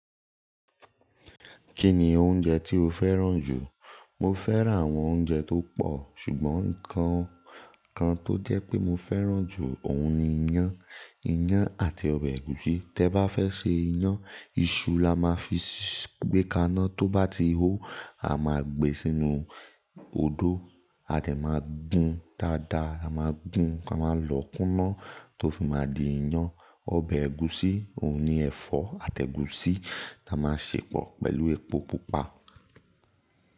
Kí ni oúnjẹ tí o fẹ́ràn jù? Mo fẹ́ràn àwọn oúnjẹ tó pọ̀, ṣùgbọ́n nǹkan kan tó jẹ́ pé mo fẹ́ràn jù òun ni iyán. Iyán àti ọbẹ̀ ẹ̀gúsí. Tẹ́ ba fẹ́ ṣe iyán, iṣu la máa fi gbé kaná. Tó bá ti hó, a máa gbé sínú odó, a dẹ̀ máa gún dáadáa, a máa gún tá máa lọ̀ kúnná, tó fi máa di iyán. Ọbẹ̀ ẹ̀gúsí, òun ni ẹ̀fọ́ àti ẹ̀gúsí ta máa ṣè pọ̀ pẹ̀lú epo pupa.